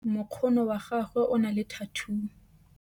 mokgono wa gagwe o na le thathuu